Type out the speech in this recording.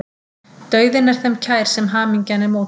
Dauðinn er þeim kær sem hamingjan er mótbær.